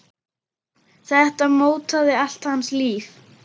Þetta mótaði allt hans líf.